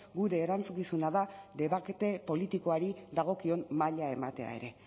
gure erantzukizuna da debate politikoari dagokion maila ematea ere